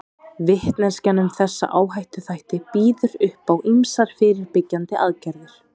Vitneskjan um þessa áhættuþætti býður upp á ýmsar fyrirbyggjandi aðgerðir.